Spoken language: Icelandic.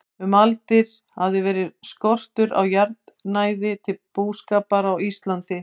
Um aldir hafði verið skortur á jarðnæði til búskapar á Íslandi.